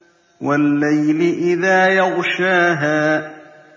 وَاللَّيْلِ إِذَا يَغْشَاهَا